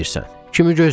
Kimi gözləyirsən?